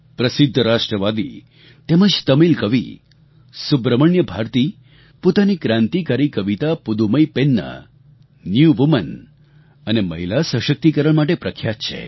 પ્રસિદ્ધ રાષ્ટ્રવાદી તેમજ તમિલ કવિ સુબ્રમણ્ય ભારતી પોતાની ક્રાંતિકારી કવિતા પુદ્દુમઈ પેન્ન ન્યૂ વુમેન અને મહિલા સશક્તિકરણ માટે પ્રખ્યાત છે